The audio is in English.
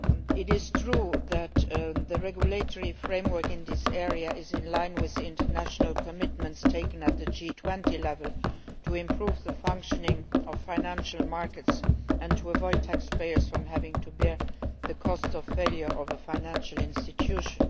It is true that the regulatory framework in this area is in line with the international commitments undertaken at G20 level to improve the functioning of financial markets and to avoid taxpayers having to bear the cost of the failure of a financial institution.